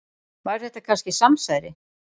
Var þetta kannski samsæri?